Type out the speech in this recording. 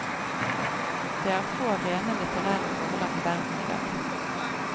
Det er få rene litterære forlag i verden i dag.